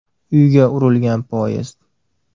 Uyga urilgan poyezd.